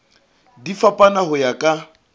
di fapana ho ya ka